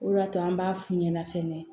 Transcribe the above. O de y'a to an b'a f'u ɲɛna fɛnɛ